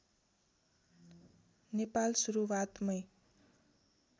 Nepal सुरुवातमै